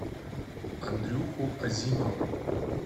андрюху азимова